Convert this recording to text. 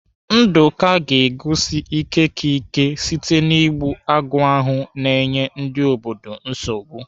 Nduka ga-egosi ike ka ike site na-igbu agụ ahụ na-enye ndị obodo nsogbu.